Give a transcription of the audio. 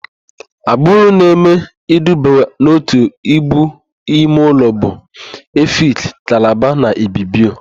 Agbụrụ na-eme iduba n'òtù Íbù imeụlọ bụ: Efik, Kalabarị na Ibibio.